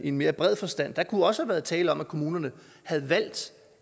i mere bred forstand der kunne også have været tale om at kommunerne havde valgt